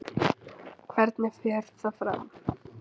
Hvernig fer það fram?